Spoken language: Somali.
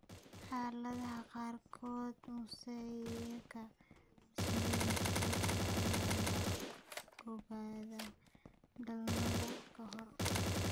Xaaladaha qaarkood, mosaika trisomy sagal ayaa la ogaadaa dhalmada ka hor.